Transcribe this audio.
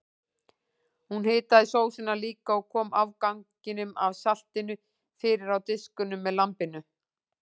Hún hitaði sósuna líka og kom afganginum af salatinu fyrir á diskunum með lambinu.